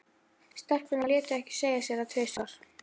Stelpurnar létu ekki segja sér það tvisvar.